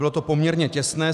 Bylo to poměrně těsné.